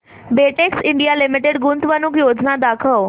Betex India Limited गुंतवणूक योजना दाखव